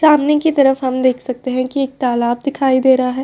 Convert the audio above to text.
सामने की तरफ हम देख सकते हैं कि एक तालाब दिखाई दे रहा है।